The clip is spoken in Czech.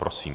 Prosím.